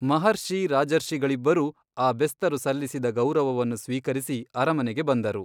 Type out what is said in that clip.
ಮಹರ್ಷಿ ರಾಜರ್ಷಿಗಳಿಬ್ಬರೂ ಆ ಬೆಸ್ತರು ಸಲ್ಲಿಸಿದ ಗೌರವವನ್ನು ಸ್ವೀಕರಿಸಿ ಅರಮನೆಗೆ ಬಂದರು.